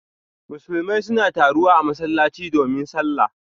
Musulmai suna taruwa a masallatai domin sallah.